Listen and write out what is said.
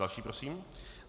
Další prosím.